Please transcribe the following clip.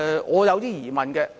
我有一些疑問的。